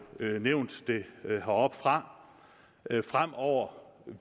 nævnt heroppefra at der fremover